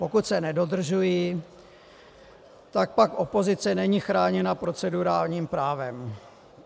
Pokud se nedodržují, tak pak opozice není chráněna procedurálním právem.